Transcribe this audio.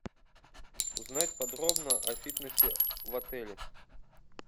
узнать подробно о фитнесе в отеле